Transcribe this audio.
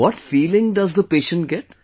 What feeling does the patient get